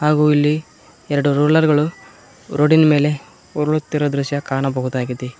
ಹಾಗೂ ಇಲ್ಲಿ ಎರಡು ರೋಲರ್ ಗಳು ರೋಡಿನ ಮೇಲೆ ಉರುಳಿತಿರೋ ದೃಶ್ಯ ಕಾಣಬಹುದು.